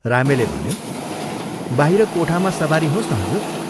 रामेले भन्यो, "बाहिर कोठामा सवारी होस् न हजुर।